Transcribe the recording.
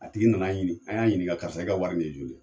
A tigi nan'a ɲini an y'a ɲininka karisa i ka wari nin ye joli ye